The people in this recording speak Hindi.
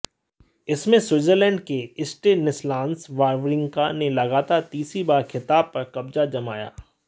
इसमें स्विट्जरलैंड के स्टेनिसलास वावरिंका ने लगातार तीसरी बार खिताब पर कब्जा जमाया